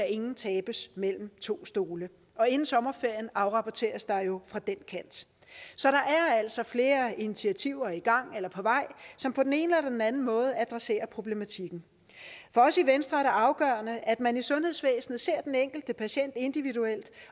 ingen tabes mellem to stole og inden sommerferien afrapporteres der jo fra den kant så der er altså flere initiativer i gang eller på vej som på den ene eller den anden måde adresserer problematikken for os i venstre er det afgørende at man i sundhedsvæsenet ser den enkelte patient individuelt